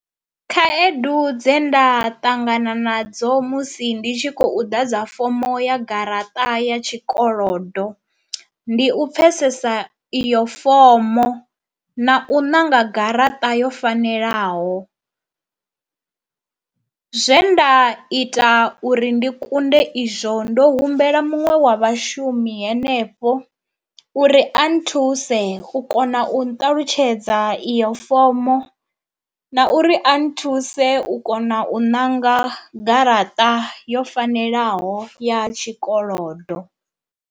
Khaedu dze nda ṱangana nadzo musi ndi tshi khou ḓa dza fomo ya garaṱa ya tshikolodo, ndi u pfhesesa iyo fomo na u ṋanga garaṱa yo fanelaho. Zwe nda ita uri ndi kunde izwo ndo humbela muṅwe wa vhashumi henefho uri a nthuse u kona u nṱalutshedza iyo fomo na uri a nthuse u kona u ṋanga garaṱa yo fanelaho ya tshikolodo.